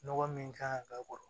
Nɔgɔ min kan ka k'a kɔrɔ